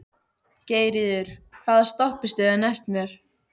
Geirríður, hvaða stoppistöð er næst mér?